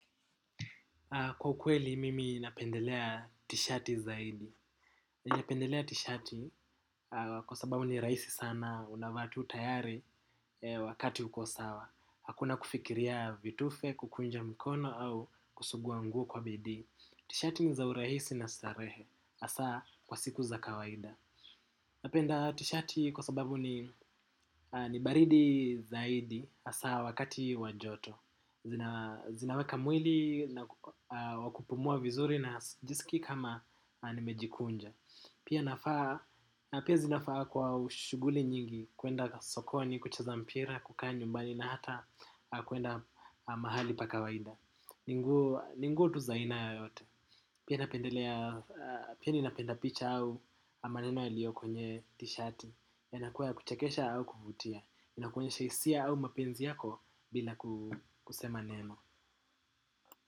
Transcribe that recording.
Kwa ukweli, mimi napendelea t-shati zaidi. Napendelea t-shati kwa sababu ni raisi sana, unavaa tu tayari wakati uko sawa. Hakuna kufikiria vitufe, kukunja mkono au kusugua nguo kwa bidi. T-shati ni za uraisi na starehe. Asa, kwa siku za kawaida. Napenda t-shati kwa sababu ni baridi zaidi. Asa, wakati wa joto. Zinaweka mwili na wa kupumua vizuri najisiki kama nimejikunja. Pia zinafaa kwa shuguli nyingi kuenda sokoni, kucheza mpira, kukaa nyumbani na hata kuenda mahali pa kawaida. Ni nguo tu zaina yoyote. Pia ninapenda picha au maneno yaliyo kwenye t-shirt. Yanakuwa ya kuchakesha au kuvutia. Inakuonyesha hisia au mapenzi yako bila kusema neno.